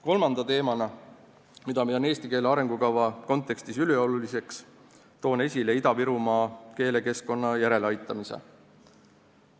Kolmanda teemana, mida pean eesti keele arengukava kontekstis ülioluliseks, toon esile Ida-Virumaa keelekeskkonna järeleaitamise.